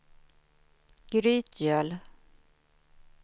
Grytgöl